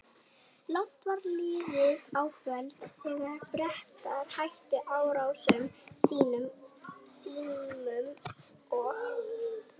Langt var liðið á kvöld, þegar Bretar hættu árásum sínum og